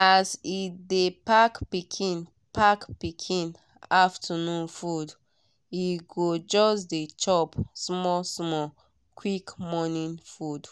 as e dey pack pikin pack pikin afternoon food e go just dey chop small small quick morning food.